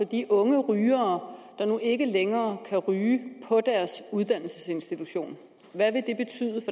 de unge rygere der nu ikke længere kan ryge på deres uddannelsesinstitution hvad vil